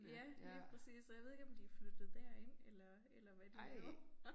Ja lige præcis og jeg ved ikke om de flyttet derind eller eller hvad de laver